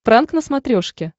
пранк на смотрешке